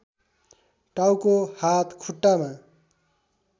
टाउको हात खुट्टामा